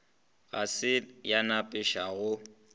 ga se ya nepiša go